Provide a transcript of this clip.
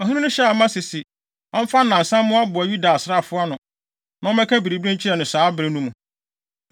Ɔhene no hyɛɛ Amasa sɛ ɔmfa nnansa mmoaboa Yuda asraafo ano, na ɔmmɛka biribi nkyerɛ no saa bere no mu.